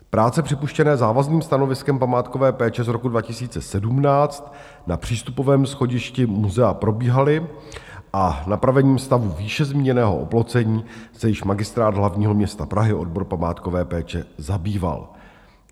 Práce připuštěné závazným stanoviskem památkové péče z roku 2017 na přístupovém schodišti muzea probíhaly a napravením stavu výše zmíněného oplocení se již Magistrát hlavního města Prahy, odbor památkové péče zabýval.